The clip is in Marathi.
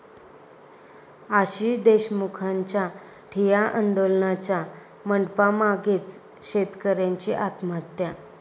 आशिष देशमुखांच्या ठिय्या आंदोलनाच्या मंडपामागेच शेतकऱ्याची आत्महत्या